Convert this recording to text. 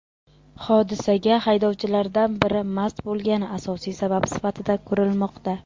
Hodisaga haydovchilardan biri mast bo‘lgani asosiy sabab sifatida ko‘rilmoqda.